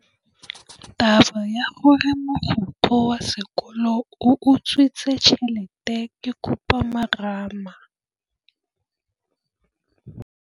Taba ya gore mogokgo wa sekolo o utswitse tšhelete ke khupamarama.